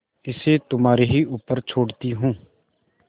इसे तुम्हारे ही ऊपर छोड़ती हूँ